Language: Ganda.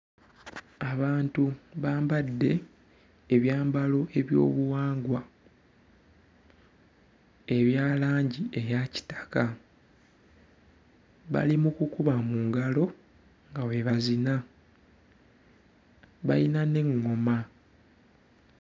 Abantu bambadde ebyambalo eby'obuwangwa ebya langi eya kitaka, bali mu kukuba mu ngalo nga bwe bazina, bayina n'eŋŋoma.